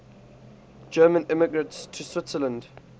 german immigrants to switzerland